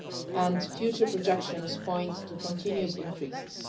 and future projections point to continued increases.